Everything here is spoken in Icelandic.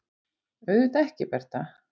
Auðvitað ekki, Bertha.